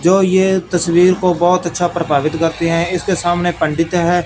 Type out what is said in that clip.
जो ये तस्वीर को बहुत अच्छा प्रभावित करती हैं इसके सामने पंडित है।